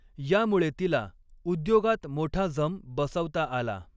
यामुळे तिला उद्योगात मोठा जम बसवता आला.